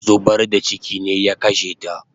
Zubar da chiki ne ya kashe ta